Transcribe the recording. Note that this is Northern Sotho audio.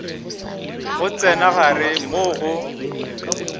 go tsena gare moo go